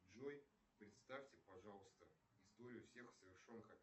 джой представьте пожалуйста историю всех совершенных